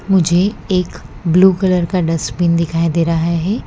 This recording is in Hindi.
मुझे एक ब्लू कलर का डस्टबिन दिखाई दे रहा है।